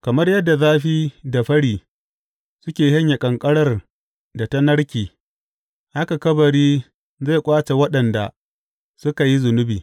Kamar yadda zafi da fări suke shanye ƙanƙarar da ta narke, haka kabari zai ƙwace waɗanda suka yi zunubi.